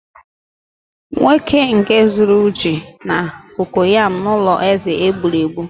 nwoke nke zuru ji na kokoyam n'ulo eze eb͕uru eb͕u